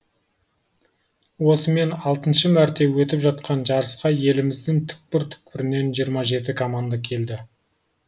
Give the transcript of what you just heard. осымен алтыншы мәрте өтіп жатқан жарысқа еліміздің түкпір түкпірінен жиырма жеті команда келді